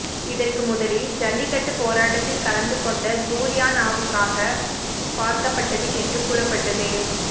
இதற்கு முதலில் ஜல்லிக்கட்டு போராட்டத்தில் கலந்து கொண்ட ஜூலியானாவுக்காக பார்க்கப்பட்டது என்று கூறப்பட்டது